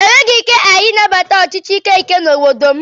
E nweghị ike ị nabata ọchịchị ike ike n'obodo m.